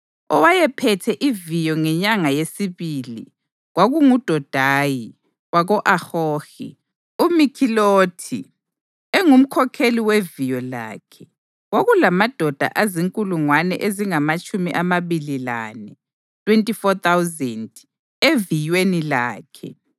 Owayephethe iviyo ngenyanga yesibili kwakunguDodayi wako-Ahohi; uMikhilothi engumkhokheli weviyo lakhe. Kwakulamadoda azinkulungwane ezingamatshumi amabili lane (24,000) eviyweni lakhe.